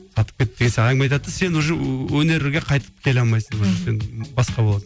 әңгіме айтатын сен уже өнерге қайтып келе алмайсың уже сен басқа боласың